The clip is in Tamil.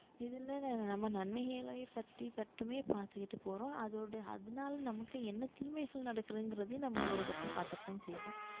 இதுல நம்ம நன்மைகளை பற்றி மட்டுமே பார்த்துக்கிட்டு போறோம் அதோட அதனால நமக்கு என்ன தீமைகள் நடக்குதுங்கிறதையும் நம்ம ஒரு பக்கம் பார்க்கத்தான் செய்வோம்